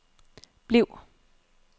bliv